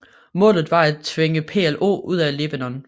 Målet var at tvinge PLO ud af Libanon